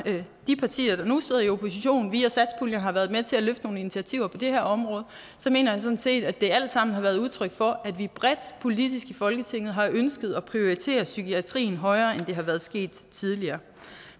de partier der nu sidder i opposition via satspuljen har været med til at løfte nogle initiativer på det her område så mener jeg sådan set at det alt sammen har været udtryk for at vi bredt politisk i folketinget har ønsket at prioritere psykiatrien højere end det har været sket tidligere